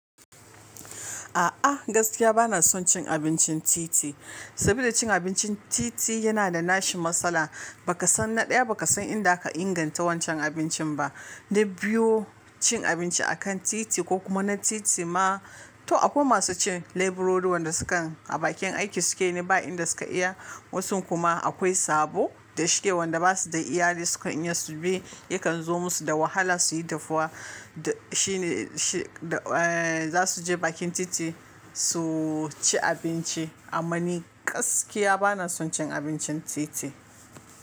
A'a gaskiya bana son cin abincin titi, saboda cin abincin titi yana da nashi matsala. Ba ka san na ɗaya, ba ka san inda aka inganta wancan abincin ba. Na biyu, cin abinci akan titi ko kuma na titi ma, to akwai masu cin leburori, wanda sukan a bakin aiki suke, ne ba inda suka iya. Wasun kuma akwai sabo da shike wanda basu da iyali sukan iya su bi, yakan zo musu da wahala su yi dafuwa da shine, shi, eh, za su je bakin titi su ci abinci. Amma ni gaskiya bana son cin abincin titi.